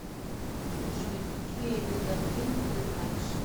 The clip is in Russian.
джой какие йодандин ты знаешь